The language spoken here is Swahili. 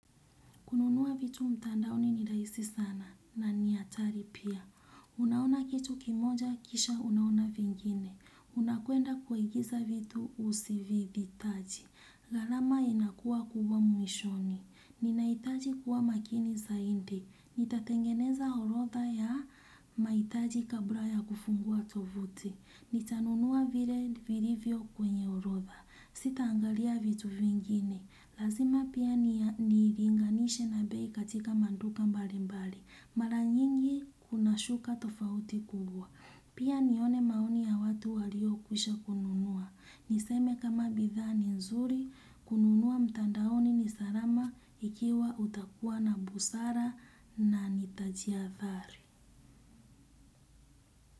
Kununua vitu mtandaoni ni rahisi sana na ni hatari pia. Unaona kitu kimoja kisha unaona vingine. Unakwenda kuagiza vitu usivyovihitaji. Ghalama inakuwa kubwa mwishoni. Ninahitaji kuwa makini zaidi. Nitatengeneza orodha ya mahitaji kabla ya kufungua tovuti. Nitanunua vile vilivyo kwenye orodha. Sitaangalia vitu vingine. Lazima pia ni linganishe na bei katika maduka mbali mbali. Mara nyingi kuna shuka tofauti kubwa. Pia nione maoni ya watu walio kwisha kununua. Niseme kama bidhaa ni nzuri, kununua mtandaoni ni salama ikiwa utakuwa na busara na nitajihathari.